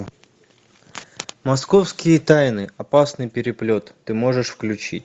московские тайны опасный переплет ты можешь включить